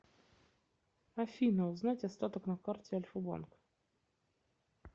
афина узнать остаток на карте альфа банк